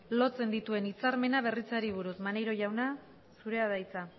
lotzen dituen hitzarmena berritzeari buruz maneiro jauna zurea da hitza